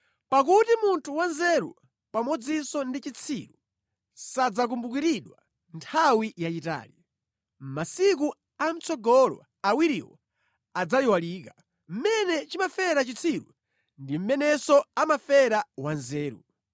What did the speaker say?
Pakuti munthu wanzeru, pamodzinso ndi chitsiru sadzakumbukiridwa nthawi yayitali; mʼmasiku amʼtsogolo awiriwo adzayiwalika. Mmene chimafera chitsiru ndi mmenenso amafera wanzeru!